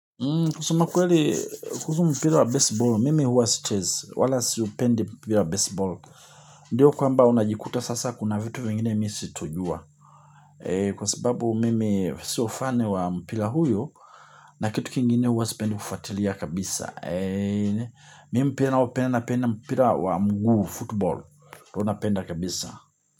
Kusema kweli kuhusu mpira wa besiball, mimi huwa sichezi, wala siupendi mpira wa besiball. Ndiyo kwamba unajikuta sasa kuna vitu vingine mimi sitojua. Kwa sababu mimi sio fun wa mpira huyo na kitu kingine huwa sipendi kufatilia kabisa. Mimi mpira ninaopenda napenda mpira wa mguu football, napenda kabisa.